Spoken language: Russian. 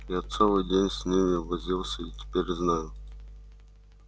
я целый день с ними возился и теперь знаю